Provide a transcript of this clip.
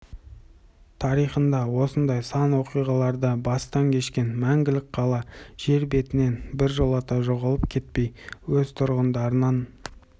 тарихында осындай сан оқиғаларды бастан кешкен мәңгілік қала жер бетінен біржолата жоғалып кетпей өз тұрғындарынан